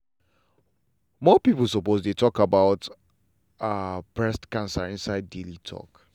more people suppose dey talk about ah breast cancer inside daily talk.